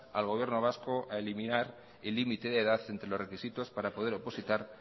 al gobierno vasco a eliminar el límite de edad entre los requisitos para poder opositar